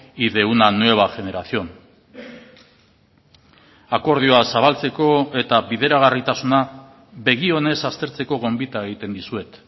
y de una nueva generación akordioa zabaltzeko eta bideragarritasuna begi onez aztertzeko gonbita egiten dizuet